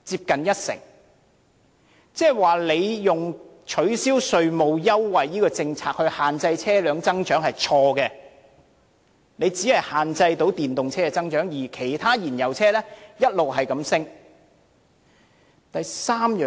換言之，當局以取消稅務優惠這項政策限制車輛增長是錯的，因為只能限制電動車增長，而其他燃油車的銷量卻一直上升。